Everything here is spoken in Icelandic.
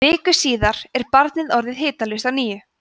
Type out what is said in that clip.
viku síðar er barnið orðið hitalaust á ný